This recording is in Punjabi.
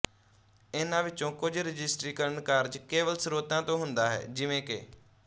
ਇਨ੍ਹਾਂ ਵਿੱਚੋਂ ਕੁਝ ਰਜਿਸਟ੍ਰੀਕਰਨ ਕਾਰਜ ਕੇਵਲ ਸਰੋਤਾਂ ਤੋਂ ਹੁੰਦਾ ਹੈ ਜਿਵੇਂ ਕਿ